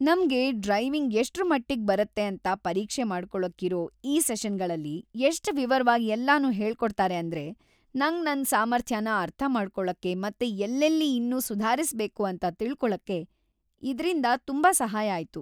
ನಮ್ಗೆ ಡ್ರೈವಿಂಗ್‌ ಎಷ್ಟ್ರಮಟ್ಟಿಗ್‌ ಬರತ್ತೆ ಅಂತ ಪರೀಕ್ಷೆ ಮಾಡ್ಕೊಳಕ್ಕಿರೋ ಈ ಸೆಷನ್‌ಗಳಲ್ಲಿ ಎಷ್ಟ್‌ ವಿವರ್ವಾಗ್‌ ಎಲ್ಲನೂ ಹೇಳ್ಕೊಡ್ತಾರೆ ಅಂದ್ರೆ ನಂಗ್‌ ನನ್‌ ಸಾಮರ್ಥ್ಯನ ಅರ್ಥ ಮಾಡ್ಕೊಳಕ್ಕೆ ಮತ್ತೆ ಎಲ್ಲೆಲ್ಲಿ ಇನ್ನೂ ಸುಧಾರಿಸ್ಬೇಕು ಅಂತ ತಿಳ್ಕೊಳಕ್ಕೆ ಇದ್ರಿಂದ ತುಂಬಾ ಸಹಾಯ ಆಯ್ತು.